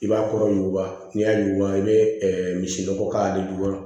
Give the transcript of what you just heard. I b'a kɔrɔ yuguba n'i y'a yuguba i bɛ misi nɔgɔ k'ale jukɔrɔ